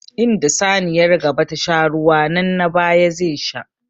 Inda saniyar gaba ta sha ruwa nan na baya zai sha.